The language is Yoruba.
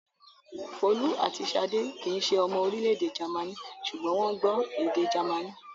Folú àti Ṣadé kì í ṣe ọmọ orílẹ̀-èdè Jámánì, ṣùgbọ́n wọ́n gbọ́ èdè Jámánì.